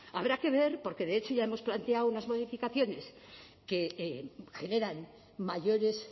habrá que ver porque de hecho ya hemos planteado unas modificaciones que generan mayores